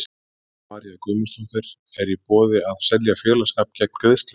Helga María Guðmundsdóttir: Er í boði að selja félagsskap gegn greiðslu?